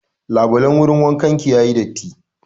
Labulan wurin wankan ki ya yi datti.